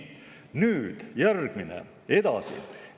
Nii, edasi.